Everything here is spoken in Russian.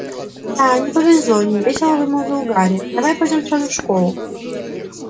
да не повезло невесело вымолвил гарри давай пойдём сразу в школу